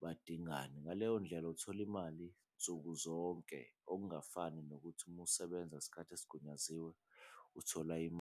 badingani, ngaleyo ndlela uthola imali nsuku zonke okungafani nokuthi uma usebenza isikhathi esigunyaziwe uthola .